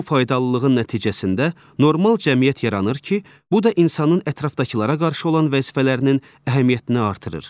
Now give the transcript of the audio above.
Bu faydalılığın nəticəsində normal cəmiyyət yaranır ki, bu da insanın ətrafdakılara qarşı olan vəzifələrinin əhəmiyyətini artırır.